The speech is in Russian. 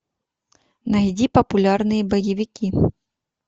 найди популярные боевики